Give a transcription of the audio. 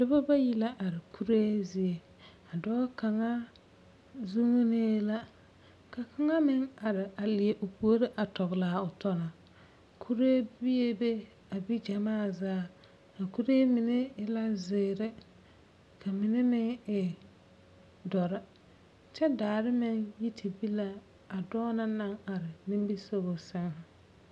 Dͻbͻ bayi la are kuree zie. A dͻͻ kaŋa zuŋinee la ka kaŋa meŋ are a leԑ o puori a tͻgele a o tͻ na. kuree biebe, a bi gyamaa zaa. A kuree mine e la zeere ka mine meŋ e dͻre, kyԑ daare meŋ yi te be la a dͻͻ na naŋ are nimbisogͻ sԑŋ.